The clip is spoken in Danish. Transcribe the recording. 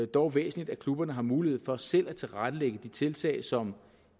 dog væsentligt at klubberne har mulighed for selv at tilrettelægge de tiltag som